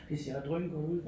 Det ser også drøngodt ud